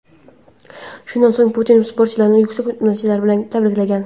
Shundan so‘ng Putin sportchilarni yuksak natijalari bilan tabriklagan.